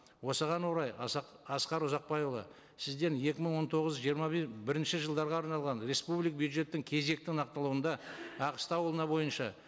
осыған орай асқар ұзақбайұлы сізден екі мың он тоғыз жиырма бірінші жылдарға арналған бюджеттің кезекті нақтылауында аққыстау ауылына бойынша